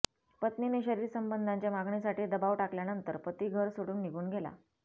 पत्नीने शरीर संबंधांच्या मागणीसाठी दबाव टाकल्यानंतर पती घर सोडून निघून गेला